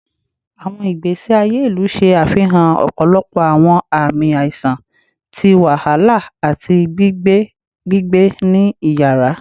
Awọn igbesi aye ilu ṣe afihan ọpọlọpọ awọn aami aiṣan ti wahala ati gbigbe gbigbe ni iyara